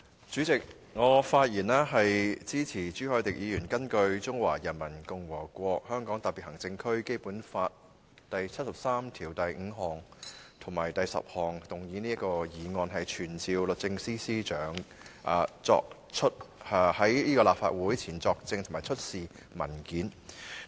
主席，我發言支持朱凱廸議員根據《中華人民共和國香港特別行政區基本法》第七十三條第五項及第七十三條第十項動議的議案，傳召律政司司長到立法會席前作證，以及出示文件。